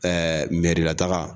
Ɛɛ n la taga